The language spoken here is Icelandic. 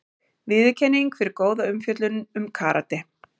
Viðurkenning fyrir góða umfjöllun um karate